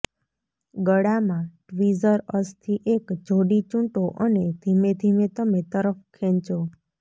ગળામાં ટ્વીઝર અસ્થિ એક જોડી ચૂંટો અને ધીમેધીમે તમે તરફ ખેંચો